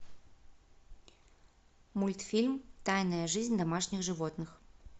мультфильм тайная жизнь домашних животных